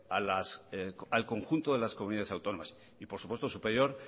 al conjunto de las comunidades autónomas y por supuesto superior